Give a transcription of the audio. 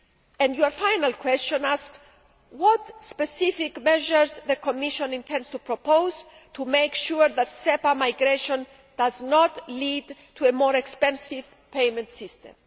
And your final question asks what specific measures the Commission intends to propose to make sure that SEPA migration does not lead to a more expensive payment system.